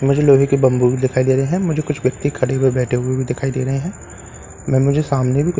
मुझे लोहे के बम्बू भी दिखाई दे रहे है मुझे कुछ व्यक्ति खड़े हुए बैठे हुए भी दिखाई दे रहे है मैं मुझे सामने भी कुछ --